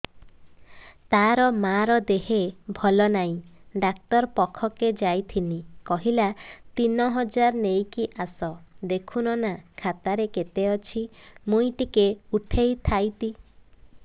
ତାର ମାର ଦେହେ ଭଲ ନାଇଁ ଡାକ୍ତର ପଖକେ ଯାଈଥିନି କହିଲା ତିନ ହଜାର ନେଇକି ଆସ ଦେଖୁନ ନା ଖାତାରେ କେତେ ଅଛି ମୁଇଁ ଟିକେ ଉଠେଇ ଥାଇତି